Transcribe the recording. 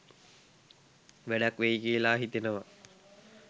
වැඩක් වෙයි කියලා හිතෙනවා